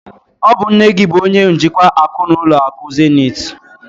Ọ bụ nne gị bụ onye njikwa akụ n'ụlọ akụ Zenith?